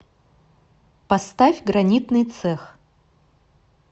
поставь гранитный цех